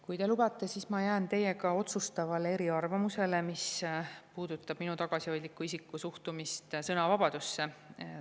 Kui te lubate, siis ma jään otsustavalt teiega eriarvamusele, mis puudutab minu tagasihoidliku isiku suhtumist sõnavabadusse.